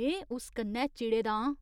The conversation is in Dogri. में उस कन्नै चिड़े दा आं।